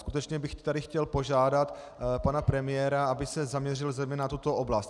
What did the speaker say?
Skutečně bych tady chtěl požádat pana premiéra, aby se zaměřil zejména na tuto oblast.